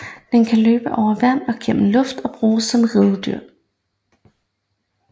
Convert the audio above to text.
Den kan løbe over vand og gennem luften og bruges som ridedyr